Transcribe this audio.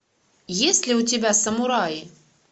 есть ли у тебя самураи